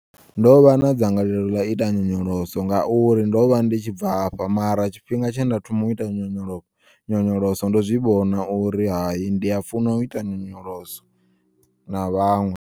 Ndovha na dzangalelo ḽau ota nyonyoloso ngauri ndovha ndi tshi bvafha mara tshifhinga tshe nda thoma uita nyonyolo nyonyoloso ndo zwi vhona uri hayi ndi ya funa u ita nyonyoloso na vhaṅwe.